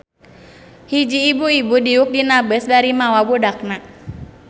Hiji ibu-ibu diuk dina beus bari mawa budakna.